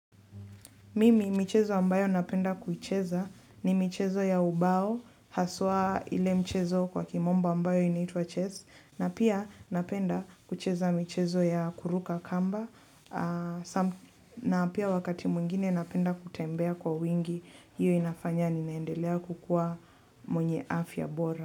Mimi mchezo ambayo napenda kuicheza ni mchezo ya ubao, haswa ile mchezo kwa kimombo ambayo inaitwa chess, na pia napenda kucheza mchezo ya kuruka kamba, na pia wakati mwingine napenda kutembea kwa wingi, hiyo inafanya ninaendelea kukua mwenye afya bora.